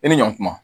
E ni ɲɔn ma